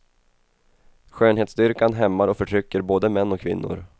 Skönhetsdyrkan hämmar och förtrycker både män och kvinnor.